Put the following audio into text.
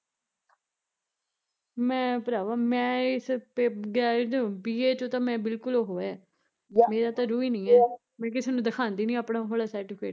ਮੈਂ ਪਰਾਵਾਂ ਮੈਂ ਮੈਂ ਇਸ ਪੈ BA ਚੋਂ ਤਾਂ ਮੈਂ ਬਿਲਕੁਲ ਓਹ ਐ ਮੇਰਾ ਤਾਂ ਰੂਹ ਈ ਨੀ ਐ, ਮੈਂ ਕਿਸੇ ਨੂੰ ਦਿਖਾਉਂਦੀ ਨੀ ਉਹ ਵਾਲਾ ਸਰਟੀਫਿਕੇਟ